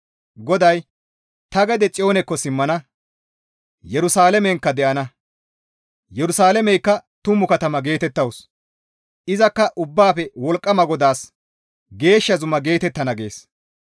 GODAY, «Ta gede Xiyoonikko simmana; Yerusalaamenkka de7ana. Yerusalaameykka tumu katama geetettawus; izakka Ubbaafe Wolqqama GODAAS geeshsha zuma geetettana» gees.